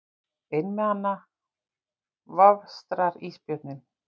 Einmana vafstrar ísbjörninn.